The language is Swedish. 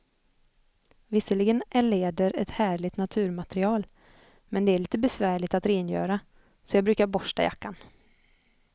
Visserligen är läder ett härligt naturmaterial, men det är lite besvärligt att rengöra, så jag brukar borsta jackan.